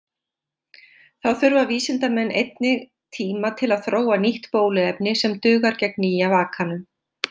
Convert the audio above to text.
Þá þurfa vísindamenn einnig tíma til að þróa nýtt bóluefni sem dugar gegn nýja vakanum.